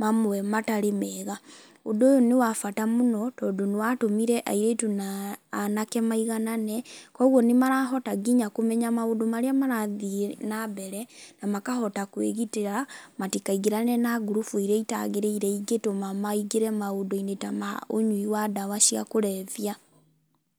mamwe matarĩ mega. Ũndũ ũyũ nĩ wa bata mũno, tondũ nĩwatũmire airĩtu na anake maiganane, kwoguo nĩmarahota nginya kũmenya maũndũ marĩa marathiĩ nambere na makahota kwĩgitĩra matikaingĩrane na ngurubu iria itagĩrĩire ingĩtũma maingĩre maũndũ-inĩ ta ma ũnyui wa ndawa cia kũrebia.